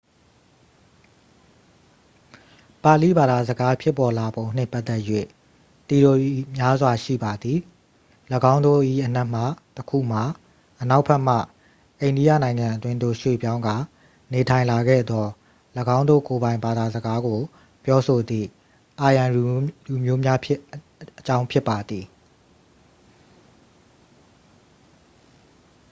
ပါဠိဘာသာစကားဖြစ်ပေါ်လာပုံနှင့် ပတ်သက်၍ သီအိုရီများစွာ ရှိပါသည် ၎င်းတို့၏အနက်မှတစ်ခုမှာ အနောက်ဘက်မှ အိန္ဒိယနိုင်ငံအတွင်းသို့ရွှေ့ပြောင်းကာ နေထိုင်လာခဲ့သော ၎င်းတို့ကိုယ်ပိုင် ဘာသာစကားကိုပြောဆိုသည့် aryan လူမျိုးများအကြောင်း ဖြစ်ပါသည်